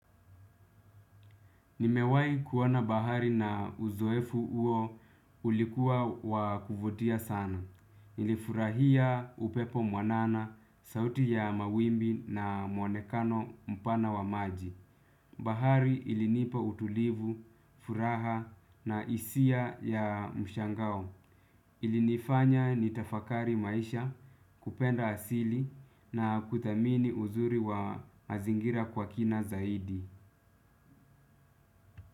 Nimewahi kuona bahari na uzoefu uo ulikuwa wa kuvutia sana. Nilifurahia upepo mwanana, sauti ya mawimbi na muonekano mpana wa maji. Bahari ilinipa utulivu, furaha na hisia ya mshangao. Ilinifanya nitafakari maisha kupenda asili na kuthamini uzuri wa mazingira kwa kina zaidi.